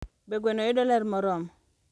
Be gweno yudo ler moromo?